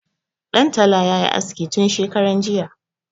Ɗan tala ya yi aske tun shekaran jiya.